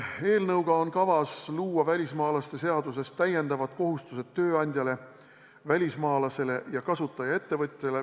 Eelnõuga on kavas luua välismaalaste seaduses täiendavad kohustused tööandjale, välismaalasele ja kasutajaettevõtjale.